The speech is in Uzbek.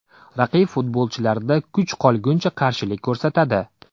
Raqib futbolchilarida kuch qolgunicha qarshilik ko‘rsatadi.